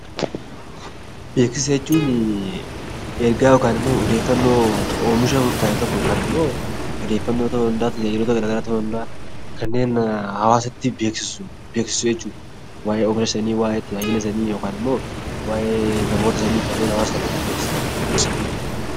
Beeksisa jechuun ergaa yookaan immoo odeeffannoo oomisha murtaa'e tokko yookaan immoo odeeffannoo ta'uu danda'a, tajaajiloota gara garaa ta'uu danda'a kanneen hawaasatti beeksisu jechuudha. Waa'ee ofi isaanii, waa'ee tajaajila isaanii yookaan immoo waa'ee namoota kanneen sanyii hawaasa tokkotti beeksisan.